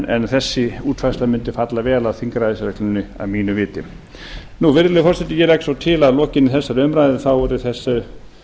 en þessi útfærsla mundi falla vel að þingræðisreglunni að mínu viti virðulegi forseti ég legg svo til að lokinni þessari umræðu þá verði þessu